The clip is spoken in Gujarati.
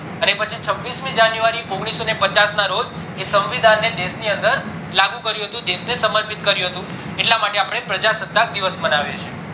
અને પચી છવીસ મી january ઓગણીસો ને પચાસ ના રોજ એ સંવિધાન ને દેશ ની અંદર લાગુ કર્યું હતું દેશહ ને સમર્પિત કર્યું હતું એટલે માટે અપડે પ્રજા સત્તાક દિવસ માનવીએ છીએ અને પછી